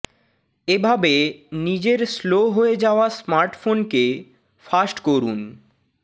এভাবে নিজের স্লো হয়ে যাওয়া স্মার্টফোন কে ফাস্ট করুন